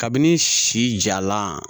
Kabini si jalan